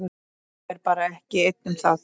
Ég er bara ekki einn um það.